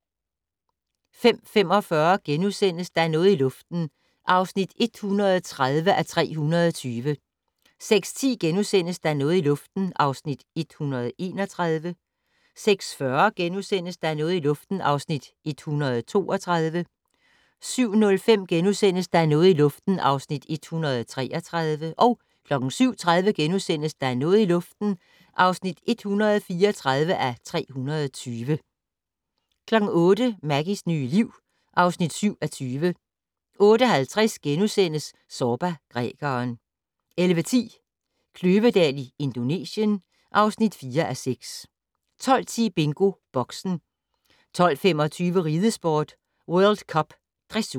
05:45: Der er noget i luften (130:320)* 06:10: Der er noget i luften (131:320)* 06:40: Der er noget i luften (132:320)* 07:05: Der er noget i luften (133:320)* 07:30: Der er noget i luften (134:320)* 08:00: Maggies nye liv (7:20) 08:50: Zorba, grækeren * 11:10: Kløvedal i Indonesien (4:6) 12:10: BingoBoxen 12:25: Ridesport: World Cup Dressur